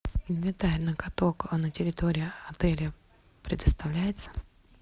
инвентарь на каток на территории отеля предоставляется